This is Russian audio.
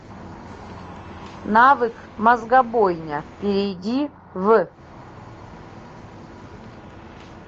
навык мозгобойня перейди в